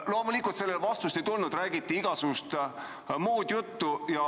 Loomulikult sellele vastust ei tulnud, räägiti igasugust muud juttu.